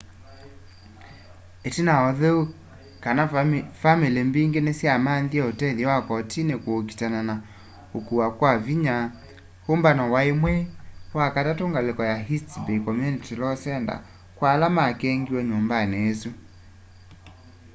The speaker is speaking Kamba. itina wa utheu kana vamili mbingi nisyamanthie utethyo wa kotini kuukitana na ukuwa kya vinya umbano wai mwei wa katatu ngaliko ya east bay community law center kwa ala makengiwe nyumbani isu